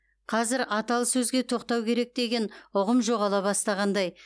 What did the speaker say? қазір аталы сөзге тоқтау керек деген ұғым жоғала бастағандай